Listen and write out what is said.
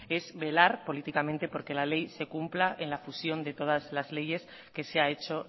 es velar políticamente por que la ley se cumpla en la fusión de todas las leyes que se ha hecho